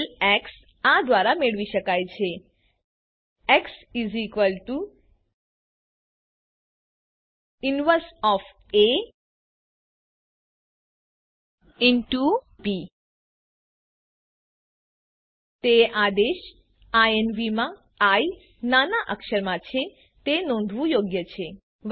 ઉકેલ એક્સ આ દ્વારા મેળવી શકાય છે એક્સ invb તે આદેશ ઇન્વ માં આઇ નાના અક્ષરમાં છે તે નોંધવું યોગ્ય છે